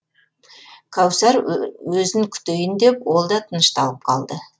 кәусар өзін күтейін деп ол да тынышталып қалды